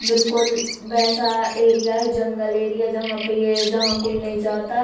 बिल्कुल वैसा एरिया है जंगल एरिया है जहां पर ये जहां नहीं कोई जाता --